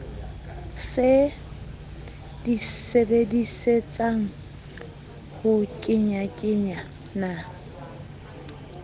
se di sebedisetsang ho kenyakenyana